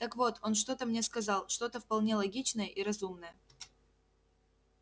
так вот он что-то мне сказал что-то вполне логичное и разумное